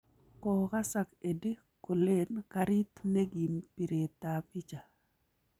Kokasak Eddie kolen karik ne kiim biret ab bicha